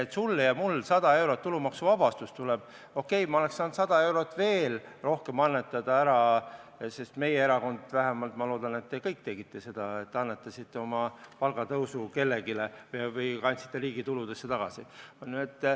Kui sulle ja mulle 100 eurot tulumaksuvabastusest oleks tulnud, siis okei, ma oleks saanud veel 100 eurot rohkem annetada, sest meie erakond vähemalt ja ma loodan, et te kõik tegite seda, et annetasite oma palgatõusu kellelegi või kandsite riigi tuludesse tagasi.